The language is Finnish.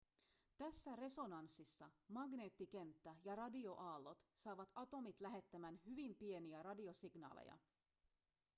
tässä resonanssissa magneettikenttä ja radioaallot saavat atomit lähettämään hyvin pieniä radiosignaaleja